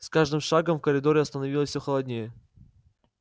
с каждым шагом в коридоре становилось всё холоднее